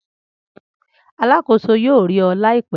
Alakoso yoo ri ọ laipẹ.